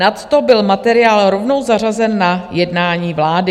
Nadto byl materiál rovnou zařazen na jednání vlády.